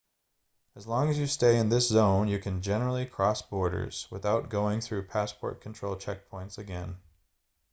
as long as you stay in this zone you can generally cross borders without going through passport control checkpoints again